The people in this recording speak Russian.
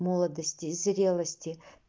молодости и зрелости